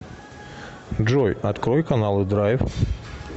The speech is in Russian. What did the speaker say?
джой открой каналы драйв